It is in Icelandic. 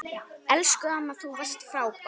Elsku amma, þú varst frábær.